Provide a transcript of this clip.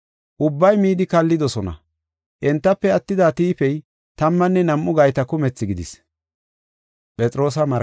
Ubbay midi kallidosona. Entafe attida tiifey tammanne nam7u gayta kumethi gidis.